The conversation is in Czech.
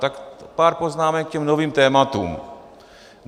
Tak pár poznámek k těm novým tématům.